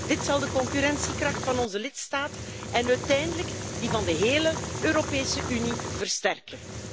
Dit zal de concurrentiekracht van onze lidstaten en uiteindelijk die van de hele Europese Unie versterken.